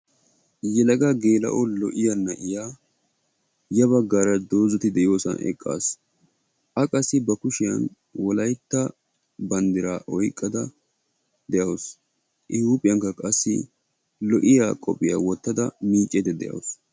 Yelaga geela"o lo"iyaa na"iyaa ya baggaara dozzati de"iyoosan eqqasu. A qassi ba kushiyan wolaytta banddiraa oyqqada de"awusu. I huuphiyankka qassi lo"iyaa qophiyaa wottada miiccaydda de"awusu.